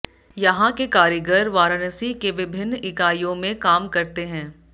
यहां के कारीगर वाराणसी के विभिन्न इकाइयों में काम करते हैं